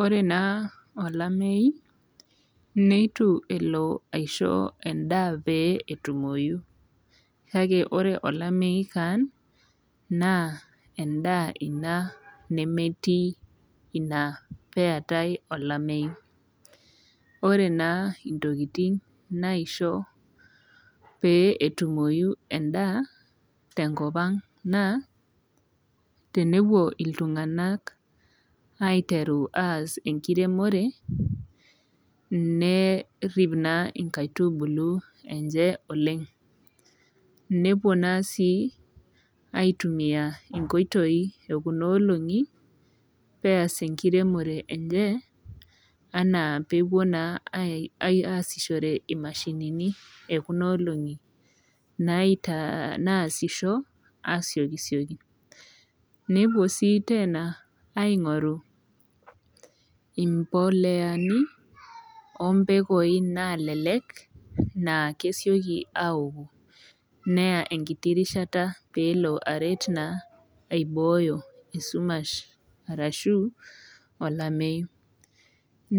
ore naa olamei neitu elo aishoo irkeek ndaa lee etumoki kake ore olamei keon naa ndaa ena nemetii peetai olamei ore naa ntokitin naishoo pee etumo endaa tenkop and naa tenepuo iltungana aiteru as enkiremore nerip naa nkaitubulu enye oleng nepuo naa sii aitumia nkoitoi ee Kuna olongi peas enkiremore enye ena peepuo naa asishore mashinini ekuna olongi nasisho asiokisioki nepuo sii Tena aing'oru mboleani ombekui nalelek naa kesioki akuoi naa enkiti rishata pee elo aret aiboyo esumash ashu olamei